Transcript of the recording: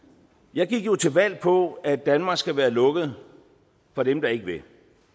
jeg gik jo til valg på at danmark skal være lukket for dem der ikke vil